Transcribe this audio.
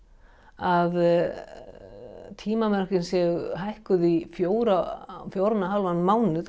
að tímamörkin séu hækkuð í fjóran og hálfan mánuð